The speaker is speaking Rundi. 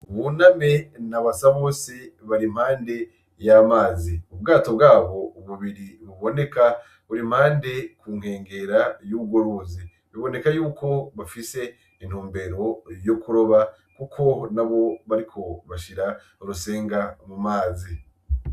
Buname na Basabose bari impande yamazi. Ubwato bwabo bubiri buboneka, buri impande kunkengera y'urwo ruzi. Biboneka yuko bafise intumbero yokuroba, kuko nabo bariko bashira urusenga mumazi.